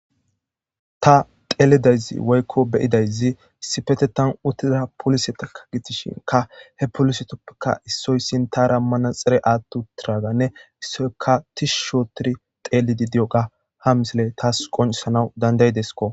Ta teelidayzi woykko beyidayzi sipete tan uttiza polise takka gitishinka he polisetoppeka issoyssin ta rammana xire aattu tiraganne issoyka tishu shootiri xeelidi di7oga ha misile taas qoncisanaw dandaydesko.